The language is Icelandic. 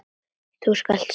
Þú skalt sanna til.